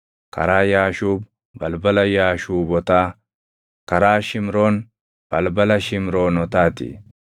karaa Yaashuub, balbala Yaashuubotaa; karaa Shimroon, balbala Shimroonotaa ti.